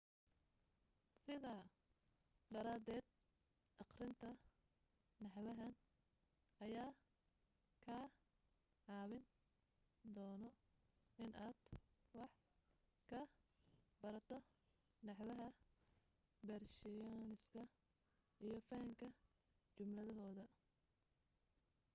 sidaa daraaded aqrinta naxwahan ayaa kaa caawin doono inaad wax ka barato naxwaha beershiyaniska iyo fahanka jumladahooda